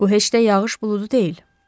Bu heç də yağış buludu deyil.